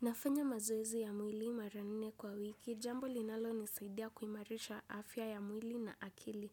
Nafanya mazoezi ya mwili mara nne kwa wiki, jambo linalonisaidia kuimarisha afya ya mwili na akili.